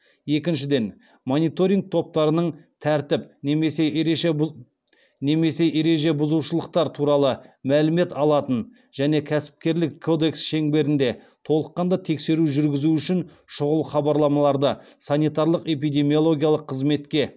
екіншіден мониторинг топтарының тәртіп немесе ереже бұзушылықтар туралы мәлімет алатын және кәсіпкерлік кодекс шеңберінде толыққанды тексеру жүргізу үшін шұғыл хабарламаларды санитарлық эпидемиологиялық қызметке